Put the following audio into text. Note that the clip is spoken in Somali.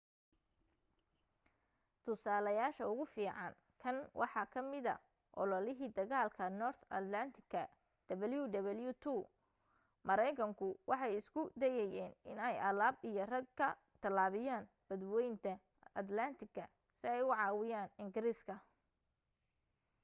tusaalayaasha ugu fiican kan waxa ka mida ololihii dagaalka north atlantic wwii maraynkanku waxay isku dayayeen inay alaab iyo rag ka tallaabiyaan badwaynta atlaantiga si ay u caawiyaan ingiriiska